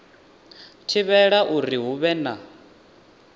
thivhela uri hu vhe na